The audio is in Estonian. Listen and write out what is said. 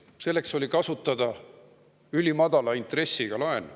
Selleks oli kasutada ülimadala intressiga laen.